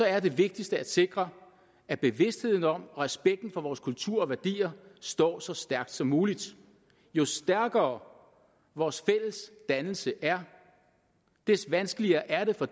er det vigtigste at sikre at bevidstheden om respekten for vores kultur og værdier står så stærkt som muligt jo stærkere vores fælles dannelse er des vanskeligere er det for